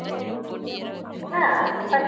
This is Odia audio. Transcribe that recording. ନା but